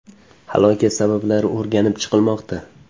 Halokat sabablari o‘rganib chiqilmoqda.